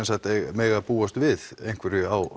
mega búast við einhverju á